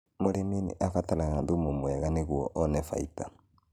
Mũrĩmi nĩarabatara thumu mwega nĩgũo one baita